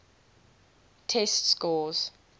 test scores